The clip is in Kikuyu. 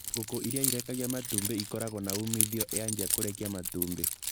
ngũkũ ĩrĩa ĩtekagia matumbĩ ĩkoragwo na umithio yanjia kũrekia matumbĩ.